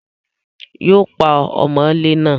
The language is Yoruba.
Yóò pa ọmọlé náà